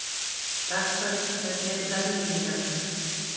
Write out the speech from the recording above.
Dagfari, hvernig er veðrið í dag?